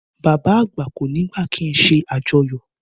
Bàbá àgbà kò ní gbà kíi ṣe àjọyọ̀